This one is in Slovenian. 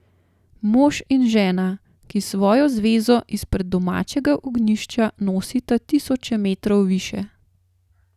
Mož in žena, ki svojo zvezo izpred domačega ognjišča nosita tisoče metrov više.